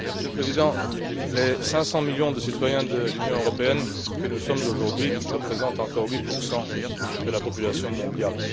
Monsieur le Président, les 500 millions de citoyens de l'Union européenne que nous sommes aujourd'hui représentent encore 8 de la population mondiale.